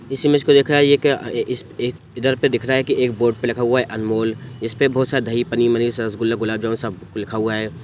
इस इमेज को देख रहा है ये क्या ये-ये इधर पे दिख रहा है की एक बोर्ड पे लिखा हुआ है अनमोल इसपे बहुत सारा दही पनीर मनीर रसगुल्ला गुलाब जामुन सब लिखा हुआ है।